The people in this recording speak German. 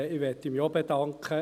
Ich möchte mich auch bedanken.